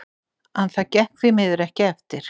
En það gekk því miður ekki eftir.